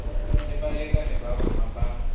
le balekane ba rona ba